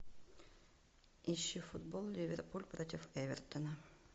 ищи футбол ливерпуль против эвертона